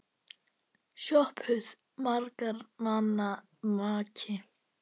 SOPHUS: Margra manna maki!